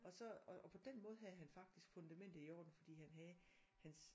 Og så og på den måde havde han faktisk fundamentet i orden fordi han havde hans